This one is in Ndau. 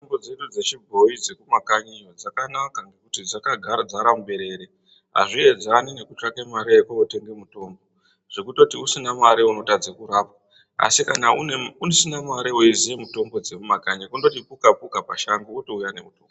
Mitombo dzedu dzechibhoyi dzekumakanyi iyo dzakanaka ngekuti dzakadzara muberere hazviedzane nekutsvake mare yokotenge mutombo zvekutoti usina mare unotadze kurapwa asi kana usina mare weiziye mitombo dzemumakanyi kundoti puka-puka pashango wotouya nemutombo.